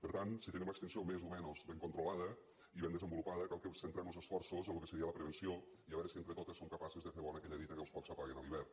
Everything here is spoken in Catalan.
per tant si tenim l’extinció més o menys ben controlada i ben desenvolupada cal que centrem los esforços en lo que seria la prevenció i a veure si entre totes som capaces de fer bona aquella dita que els focs s’apaguen a l’hivern